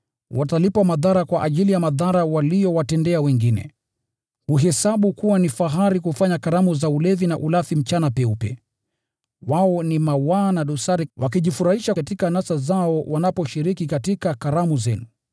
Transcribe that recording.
Watalipwa madhara kwa ajili ya madhara waliyowatendea wengine. Huhesabu kuwa ni fahari kufanya karamu za ulevi na ulafi mchana peupe. Wao ni mawaa na dosari, wakijifurahisha katika anasa zao wanaposhiriki katika karamu zenu.